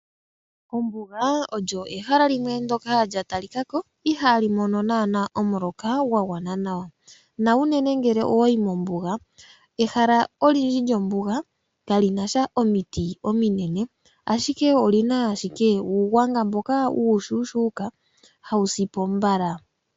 Ombuga olyo ehala limwe ndoka lya talikako ihaali mono naana omuloka gwa gwana nawa nau nene ngele owayi mombuga ehala olindji lyombuga kali nasha omiti ominene ashike olina owala uugwanga mboka uushuuka hawu sipo mbala.